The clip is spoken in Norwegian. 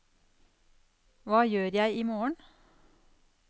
hva gjør jeg imorgen